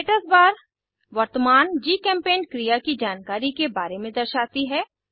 status bar वर्तमान GChemPaint क्रिया की जानकारी के बारे में दर्शाती है